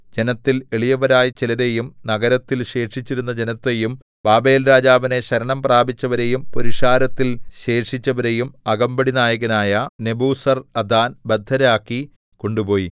ജനത്തിൽ എളിയവരായ ചിലരെയും നഗരത്തിൽ ശേഷിച്ചിരുന്ന ജനത്തെയും ബാബേൽരാജാവിനെ ശരണം പ്രാപിച്ചവരെയും പുരുഷാരത്തിൽ ശേഷിച്ചവരെയും അകമ്പടിനായകനായ നെബൂസർഅദാൻ ബദ്ധരാക്കി കൊണ്ടുപോയി